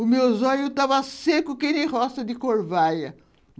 O meu zóio tava seco, que nem roça de corvaia.